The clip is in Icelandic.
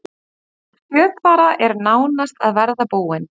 Önnur skjálftahrina í Krýsuvík